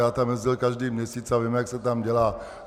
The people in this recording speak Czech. Já tam jezdil každý měsíc a vím, jak se tam dělá.